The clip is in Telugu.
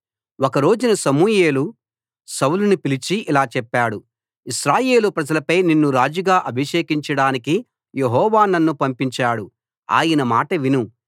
ఒక రోజున సమూయేలు సౌలును పిలిచి ఇలా చెప్పాడు ఇశ్రాయేలు ప్రజలపై నిన్ను రాజుగా అభిషేకించడానికి యెహోవా నన్ను పంపించాడు ఆయన మాట విను